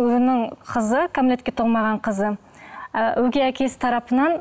оның қызы кәмелетке толмаған қызы ы өгей әкесі тарапынан